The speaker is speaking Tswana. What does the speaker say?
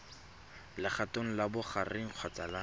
legatong la bogareng kgotsa la